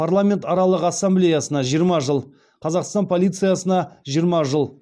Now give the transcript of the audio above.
парламентаралық ассамблеясына жиырма жыл қазақстан полициясына жиырма жыл